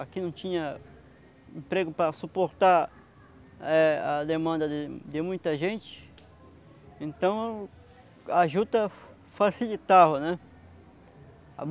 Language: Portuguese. Aqui não tinha emprego para suportar eh a demanda de muita gente, então a juta facilitava, né.